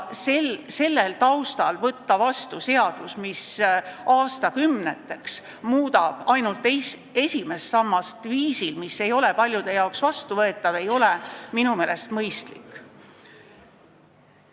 Sellel taustal võtta vastu seadus, mis aastakümneteks muudab ainult esimest sammast viisil, mis ei ole paljudele vastuvõetav, ei ole minu meelest mõistlik.